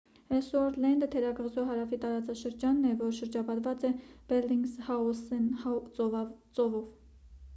էլլսուորթ լենդը թերակղզու հարավի տարածաշրջանն է որ շրջապատված է բելլինգզհաուսեն ծովով